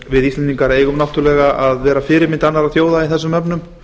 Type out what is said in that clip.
við íslendingar eigum náttúrlega að vera fyrirmynd annarra þjóða í þessum efnum